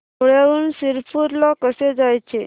धुळ्याहून शिरपूर ला कसे जायचे